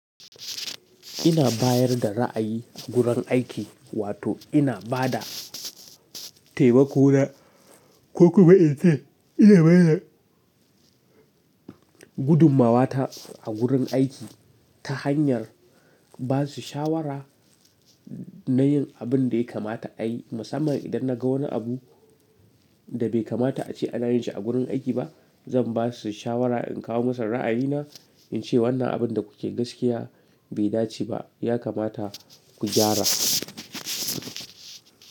Ina bayar da ra'ayi gurin aiki wato ina ba da taimako na. Ko kuma ita ince bada gudummawata a gurin aiki ta hanyar ba su shawara na yin abin da ya kamata a yi. Musamman idan na ga wani abu da bai kamata a ce ana yin shi a gurin aiki ba, zan ba su shawara in kawo musu ra'ayina in ce wannan abin da kuke gaskiya bai dace ba, ya kamata ku gyara.